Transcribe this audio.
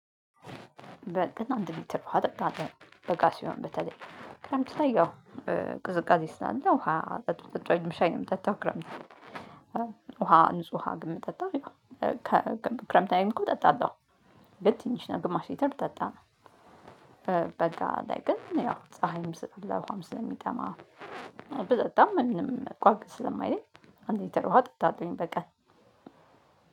በቀን አንድ ሊትር ውሃ እጠጣለሁ። በጋ ሲሆን በተለይ ክረምት ላይ ያው በ ቅዝቃዜ ስላለ ውሃ ጠጡ ጠጡ አይልም ሻይ ነው የምጠጣው። ክረምት ውሃ ንጹህ ውሃ ግን የምጠጣጣ ያው ከ ክረምት ላይም እኮ እጠጣለሁ። ግን ትንሽ ነው ግማሽ ሊትር ብጠጣ በበጋ ላይ ግን ያው ፀሀይም ስ ለ ውሃም ስለሚጠማ ብጠጣም ምንም ቋቅ ስለማይለኝ። አንድ ሊትር ውሃ እጠጣሁኝ በቀን።